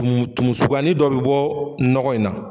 Tumu tumu suguyanin dɔ bɛ bɔ nɔgɔ in na.